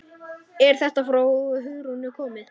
Er þetta frá Hugrúnu komið?